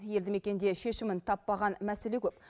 елді мекенде шешімін таппаған мәселе көп